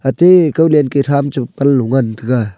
ate kaw len ke tham che panlo ngan taiga.